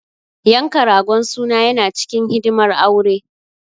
Yanka ragon suna yana cikin hidimar aure.